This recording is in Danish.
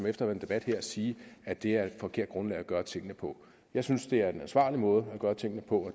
efter en debat sige at det er et forkert grundlag at gøre tingene på jeg synes det er den ansvarlige måde at gøre tingene på